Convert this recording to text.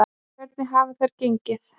Hvernig hafa þær gengið?